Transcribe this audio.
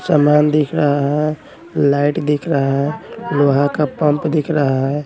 सामान दिख रहा हैं लाइट दिख रहा हैं लोहा का पंप दिख रहा हैं।